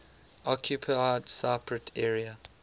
occupied cypriot area